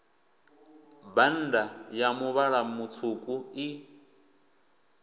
bannda a muvhala mutswuku i